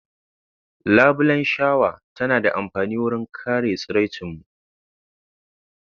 Labulan shawa tana da amfani wurin kare tsiracin mun.